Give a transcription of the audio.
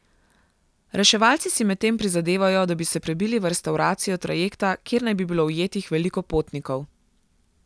Reševalci si medtem prizadevajo, da bi se prebili v restavracijo trajekta, kjer naj bi bilo ujetih veliko potnikov.